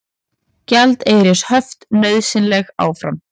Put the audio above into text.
Gjaldeyrishöft nauðsynleg áfram